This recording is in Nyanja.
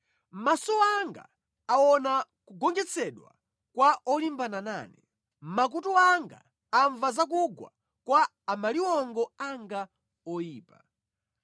Maso anga aona kugonjetsedwa kwa olimbana nane, makutu anga amva za kugwa kwa amaliwongo anga oyipa.